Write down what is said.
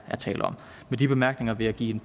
tale om med de bemærkninger vil jeg give